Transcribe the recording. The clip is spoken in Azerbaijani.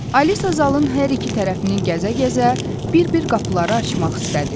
Alisa zalın hər iki tərəfini gəzə-gəzə bir-bir qapıları açmaq istədi.